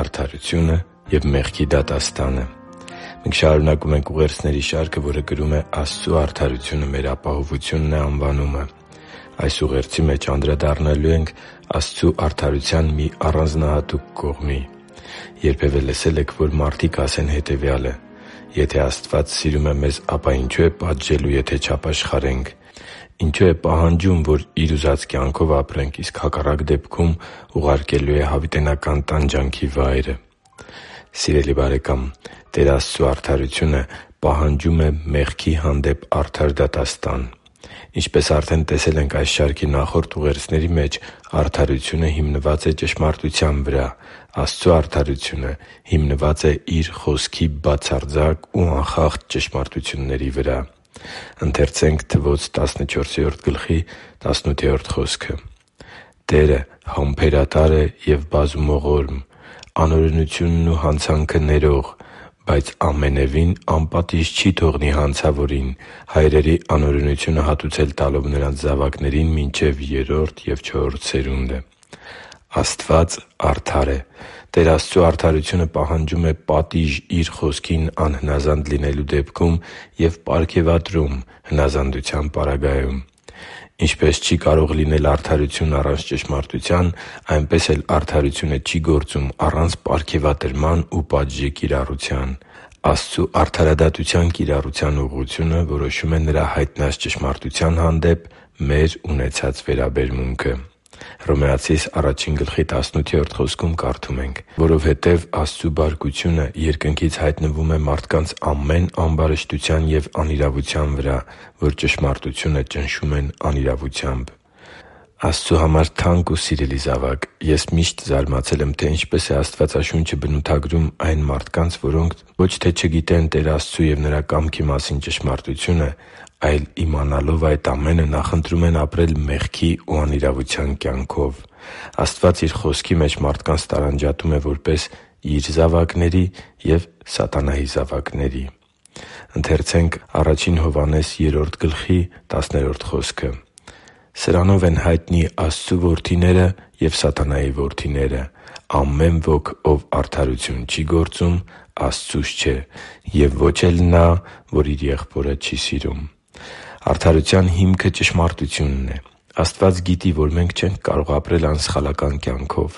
Արդարությունը և մեղքի դատաստանը Մենք շարունակում ենք ուղերձների շարքը, որը կրում է «Աստծու արդարությունը մեր ապահովությունն է» անվանումը։ Այս ուղերձի մեջ անդրադառնալու ենք Աստծու արդարության մի առանձնահատուկ կողմի։ Երբևէ լսե՞լ եք, որ մարդիկ ասեն հետևյալը․ «Եթե Աստված սիրում է մեզ, ապա ինչո՞ւ է պատժելու, եթե չապաշխարենք։ Ինչո՞ւ է պահանջում, որ Իր ուզած կերպով ապրենք, իսկ հակառակ դեպքում ուղարկելու է հավիտենական տանջանքի վայրը․․․»։ Սիրելի՛ բարեկամ, Տեր Աստծու արդարությունը պահանջում է մեղքի հանդեպ արդար դատաստան։ Ինչպես արդեն տեսել ենք այս շարքի նախորդ ուղերձների մեջ, արդարությունը միշտ հիմնված է ճշմարտության վրա։ Աստծու արդարությունը հիմնված է Իր Խոսքի բացարձակ ու անխախտ ճշմարտությունների վրա։ «Տերը համբերատար է և բազումողորմ, անօրենությունն ու հանցանքը ներող, բայց ամենևին անպատիժ չի թողնի հանցավորին՝ հայրերի անօրենությունը հատուցել տալով նրանց զավակներին՝ մինչև երրորդ և չորրորդ սերունդը» (Թվոց 14․18): Աստված արդար է։ Տեր Աստծու արդարությունը պահանջում է պատիժ Իր Խոսքին անհնազանդ լինելու դեպքում, և պարգևատրում՝ հնազանդության պարագայում։ Ինչպես չի կարող լինել արդարություն առանց ճշմարտության, այնպես էլ արդարությունը չի գործում առանց պարգևատրման ու պատժի կիրառության։ Աստծու արդարադատության կիրառության ուղղությունը որոշում է Նրա հայտնած ճշմարտության հանդեպ մեր ունեցած վերաբերմունքը։ «Որովհետև Աստծու բարկությունը երկնքից հայտնվում է մարդկանց ամեն ամբարշտության և անիրավության վրա, որ ճշմարտությունը ճնշում են անիրավությամբ» (Հռոմեացիս 1․18): Աստծու համար թանկ ու սիրելի՛ զավակ, ես միշտ զարմացել եմ, թե ինչպես է Աստվածաշունչը բնութագրում այն մարդկանց, որոնք ոչ թե չգիտեն Տեր Աստծու և Նրա կամքի մասին ճշմարտությունը, այլ, իմանալով այդ ամենը, նախընտրում են ապրել մեղքի ու անիրավության կյանքով։ Աստված Իր Խոսքի մեջ մարդկանց տարանջատում է որպես Իր զավակների և սատանայի զավակների։ «Սրանով են հայտնի Աստծու որդիները և սատանայի որդիները։ Ամեն ոք, ով արդարություն չի գործում, Աստծուց չէ, և ոչ էլ նա, ով իր եղբորը չի սիրում» (Ա Հովհաննես 3․10): Արդարության հիմքը ճշմարտությունն է։ Աստված գիտի, որ մենք չենք կարող ապրել անսխալական կյանքով։